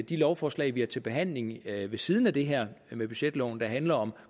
de lovforslag vi har til behandling ved siden af det her med budgetloven der handler om